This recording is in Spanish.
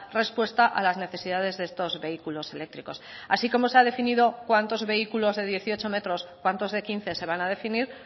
respuesta a las necesidades de estos vehículos eléctricos así como se ha definido cuántos vehículos de dieciocho metros cuántos de quince se van a definir